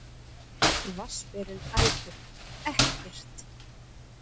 Vatnsberinn æpir: Ekkert!